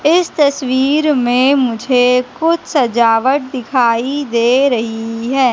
इस तस्वीर में मुझे कुछ सजावट दिखाई दे रही है।